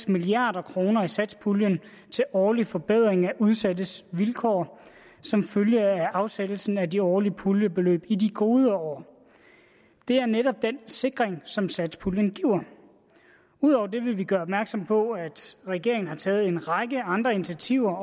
milliard kroner i satspuljen til årlige forbedringer af udsattes vilkår som følge af afsættelsen af de årlige puljebeløb i de gode år det er netop den sikring som satspuljen giver udover det vil vi gøre opmærksom på at regeringen har taget en række andre initiativer